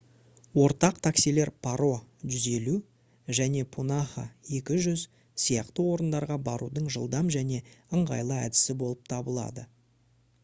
ортақ таксилер паро 150 және пунаха 200 сияқты орындарға барудың жылдам және ыңғайлы әдісі болып табылады